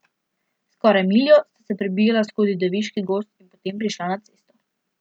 Skoraj miljo sta se prebijala skozi deviški gozd in potem prišla na cesto.